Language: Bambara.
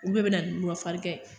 Ulu le bɛna ni murafarigan ye.